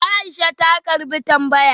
Aisha ta karbi tambayar